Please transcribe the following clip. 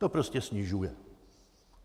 To prostě snižuje.